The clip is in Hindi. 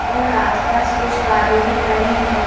और आस पास कुछ कारें भी खड़ी हुई--